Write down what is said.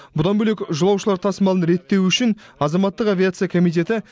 бұдан бөлек жолаушылар тасымалын реттеу үшін азаматтық авиация комитеті